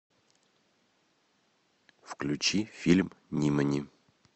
включи фильм нимани